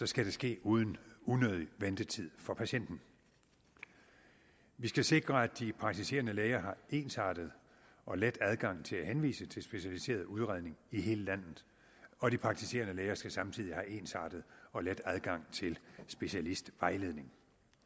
skal det ske uden unødig ventetid for patienten vi skal sikre at de praktiserende læger har ensartet og let adgang til at henvise til specialiseret udredning i hele landet og de praktiserende læger skal samtidig have ensartet og let adgang til specialistvejledning